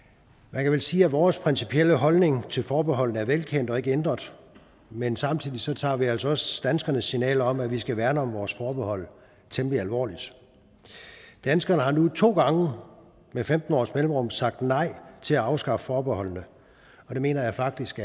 man kan vel sige at vores principielle holdning til forbeholdet er velkendt og ikke ændret men samtidig tager vi altså også danskernes signal om at vi skal værne om vores forbehold temmelig alvorligt danskerne har nu to gange med femten års mellemrum sagt nej til at afskaffe forbeholdene og det mener jeg faktisk